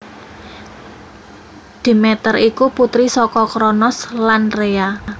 Demeter iku putri saka Kronos lan Rhea